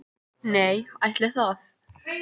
Nei, ætli það.